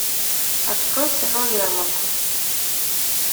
открой кино лермонтов